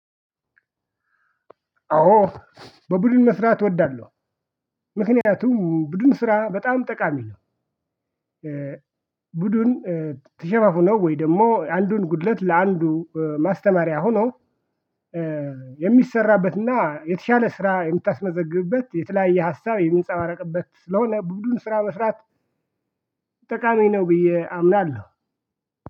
አዎ በቡድን መስራት እወዳለሁ። ምክንያቱም ቡድን ስራ በጣም ጠቃሚ ነው። ቡድን ተሸፋፍኖ ወይ ደግሞ አንዱን ጉድለት ለአንዱ ማስተማሪያ ሆኖ የሚሰራበትና የተሻለ ስራ የምታስመዘግብበት የተለያየ ሀሳብ የሚንጸባረቅበት ስለሆነ ቡድን ስራ መስራት። ጠቃሚ ነው ብዬ አምናለሁ።